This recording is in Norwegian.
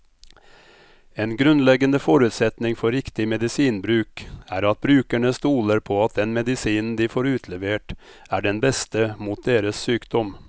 En grunnleggende forutsetning for riktig medisinbruk er at brukerne stoler på at den medisinen de får utlevert, er den beste mot deres sykdom.